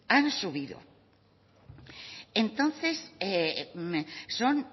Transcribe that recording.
han subido entonces son